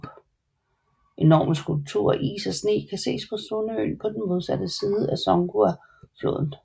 Enorme skulpturer af is og sne kan ses på Sun øen på den modsatte side af Songhua floden